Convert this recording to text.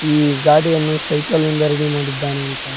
ಈ ಗಾಡಿಯನ್ನು ಸೈಕಲ್ಲಿಂದ ರೆಡಿ ಮಾಡಿದ್ದಾನೆ.